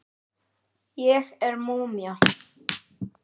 Ég er múmían.